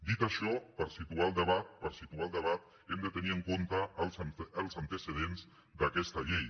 dit això per situar el debat per situar el debat hem de tenir en compte els antecedents d’aquesta llei